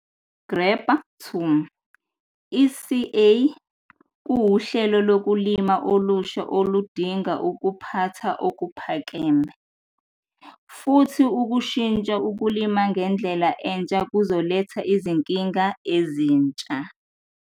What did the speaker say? Grabber 2- I-CA kuyihlelo lokulima elisha elidinga ukuphatha okuphakeme, futhi ukushintsha ukulima ngendlela ensha kuzoletha izinkinga ezinsha.